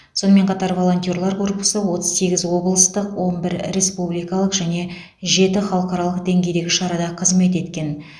сонымен қатар волонтерлар корпусы отыз сегіз облыстық он бір республикалық және жеті халықаралық деңгейдегі шарада қызмет еткен